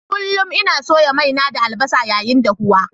Kullum ina soya mai na da albasa yayin dahuwa.